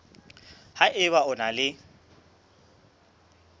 ha eba o na le